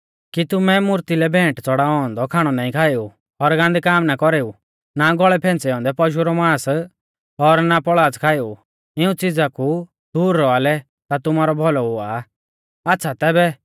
कि तुमै मूर्ती लै भैंट च़ड़ाऔ औन्दौ खाणौ नाईं खाएऊ और गान्दै काम ना कौरेऊ ना गौल़ै कौरी फैंच़ै औन्दै पशु रौ मांस और ना पौल़ाच़ खाएऊ इऊं च़िज़ा कु दूर रौआ लै ता तुमारौ भौलौ हुआ आ आच़्छ़ा तैबै